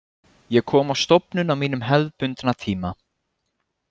Ég kom á stofnun á mínum hefðbundna tíma.